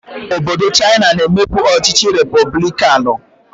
Obodo Chaina na-emebu ọchịchị repọblikanụ.